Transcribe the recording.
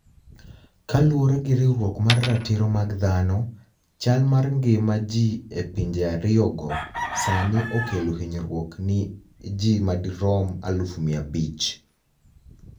Kaluwore gi riwruok mar ratiro mag dhano, chal mar nigima ji e pinije ariyogo, Saanii okelo hiniyruok ni e ji madirom 500,000.